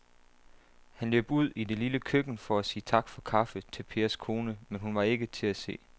Han løb ud i det lille køkken for at sige tak for kaffe til Pers kone, men hun var ikke til at se.